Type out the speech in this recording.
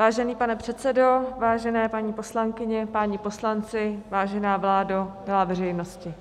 Vážený pane předsedo, vážené paní poslankyně, páni poslanci, vážená vládo, milá veřejnosti,